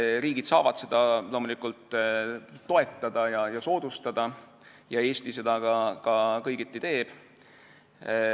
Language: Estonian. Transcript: Riigid saavad seda loomulikult toetada ja soodustada ning Eesti seda ka kõigiti teeb.